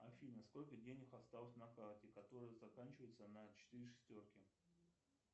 афина сколько денег осталось на карте которая заканчивается на четыре шестерки